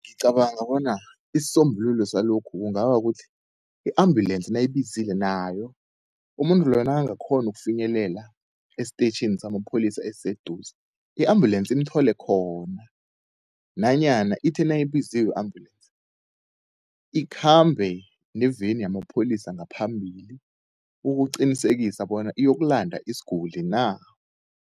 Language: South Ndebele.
Ngicabanga bona isisombululo salokhu kungaba kukuthi, i-ambulensi nawuyibizile nayo umuntu loyo nakangakghona ukufinyelela esteyitjhini samapholisa esiseduze, i-ambulensi imthole khona. Nanyana ithe nayibiziwe i-ambulensi ikhambe neveni yamapholisa ngaphambili, ukuqinisekisa bona iyokulanda isiguli na.